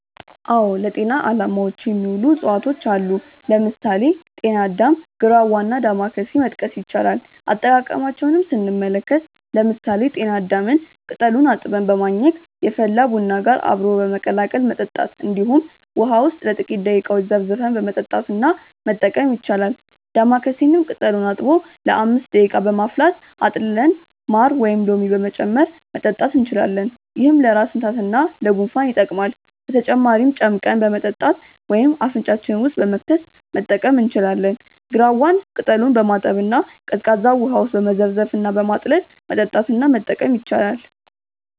አዎ ለጤና አላማዎች የሚውሉ እፅዋቶች አሉ። ለምሳሌ: ጤና አዳም፣ ግራዋ እና ዳማከሴ መጥቀስ ይቻላል። አጠቃቀማቸውንም ስንመለከት ለምሳሌ ጤና አዳምን ቅጠሉን አጥበን በማኘክ፣ የፈላ ቡና ጋር አብሮ በመቀላቀል መጠጣት እንዲሁም ውሃ ውስጥ ለጥቂተረ ደቂቃዎች ዘፍዝፈን በመጠጣት እና መጠቀም ይቻላል። ዳማከሴንም ቅጠሉን አጥቦ ለ5 ደቂቃ በማፍላት አጥልለን ማር ወይም ሎሚ በመጨመር መጠጣት እንችላለን። ይህም ለራስ ምታት እና ለጉንፋን ይጠቅማል። በተጨማሪም ጨምቀን በመጠጣት ወይም አፍንጫችን ውስጥ በመክተት መጠቀም እንችላለን። ግራዋን ቅጠሉን በማጠብ እና ቀዝቃዛ ውሃ ውስጥ በመዘፍዘፍ እና በማጥለል መጠጣት እና መጠቀም ይቻላል።